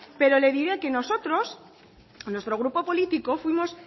pero le diré que nosotros nuestro grupo político fuimos